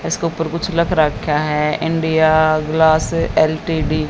इसके ऊपर कुछ लख रखा है इंडिया ग्लास एल_टी_डी ।